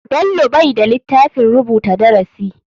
Bello bai da litafin rubuta darasi.